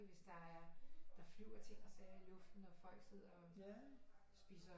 Hvis der er der der flyver ting og sager i luften og folk sidder og spiser